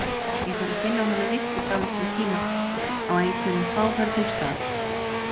Ég þarf að finna honum vist í dálítinn tíma, á einhverjum fáförnum stað.